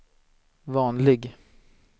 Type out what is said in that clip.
vanlig